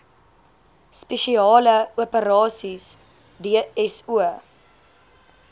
spesiale operasies dso